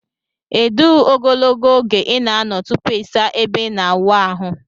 edu ogologo oge ina ano tupu isa ebe ina awụ ahu?